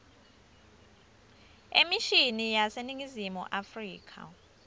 emishini yaseningizimu afrika